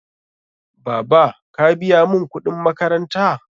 Baba, ka biya mun kuɗin makaranta?